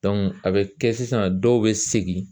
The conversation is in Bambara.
a bɛ kɛ sisan dɔw bɛ segin